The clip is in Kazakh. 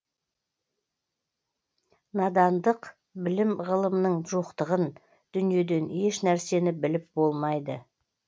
надандық білім ғылымның жоқтығын дүниеден еш нәрсені біліп болмайды